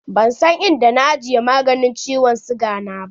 Ban san inda na ajiye maganin ciwon siga na ba.